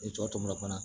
I tɔ tomina fana